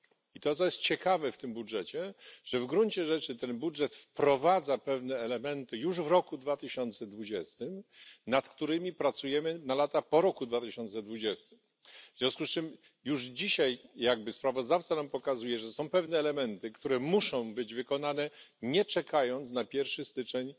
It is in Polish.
I to co, jest ciekawe w tym budżecie, to to, że w gruncie rzeczy ten budżet wprowadza pewne elementy już w roku 2020, nad którymi pracujemy na lata po roku 2020, w związku z czym już dzisiaj jakby sprawozdawca nam pokazuje, że są pewne elementy, które muszą być wykonane nie czekając na pierwszy stycznia